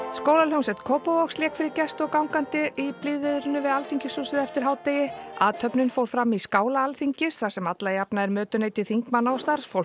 skólahljómsveit Kópavogs lék fyrir gesti og gangandi í blíðviðrinu við Alþingishúsið eftir hádegi athöfnin fór fram í skála Alþingis þar sem alla jafna er mötuneyti þingmanna og starfsfólks